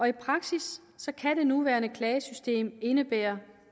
i praksis kan det nuværende klagesystem indebære